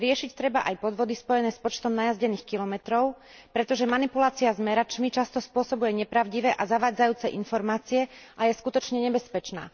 Riešiť treba aj podvody spojené s počtom najazdených kilometrov, pretože manipulácia smeračmi často spôsobuje nepravdivé a zavádzajúce informácie a je skutočne nebezpečná.